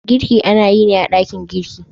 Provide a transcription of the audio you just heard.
Girki ana yi ne a dakin girki.